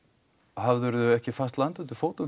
hafðirðu ekki fast land undir fótum